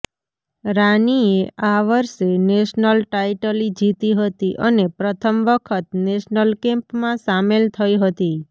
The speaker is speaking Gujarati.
રાનીએ આ વર્ષે નેશનલ ટાઈટલી જીતી હતી અને પ્રથમ વખત નેશનલ કેમ્પમાં સામેલ થઈ હતી